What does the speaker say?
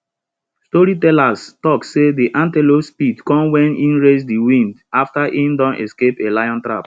storytellers talk say de antelope speed come wen e race de wind after e don escape a lion trap